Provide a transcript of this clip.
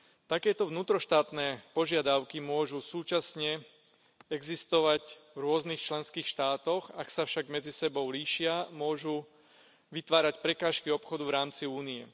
Takéto vnútroštátne požiadavky môžu súčasne existovať v rôznych členských štátoch, ak sa však medzi sebou líšia, môžu vytvárať prekážky obchodu v rámci Únie.